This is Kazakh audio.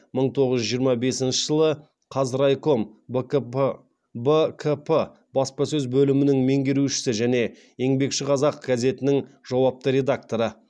мың тоғыз жүз жиырма бесінші жылы қазрайком бкп баспасөз бөлімінің меңгерушісі және еңбекші қазақ газетінің жауапты редакторы